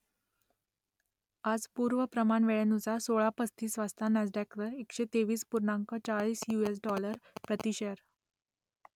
आज पूर्व प्रमाण वेळेनुसार सोळा पस्तीस वाजता नॅसडॅकवर एकशे तेवीस पूर्णांक चाळीस यु एस डॉलर प्रति शेअर